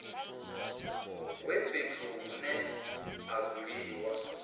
wa fhethu hune ha dzuliwa